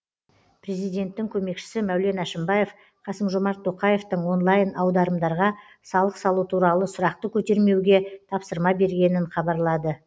президенттің көмекшісі мәулен әшімбаев қасым жомарт тоқаевтың онлайн аударымдарға салық салу туралы сұрақты көтермеуге тапсырма бергенін хабарлады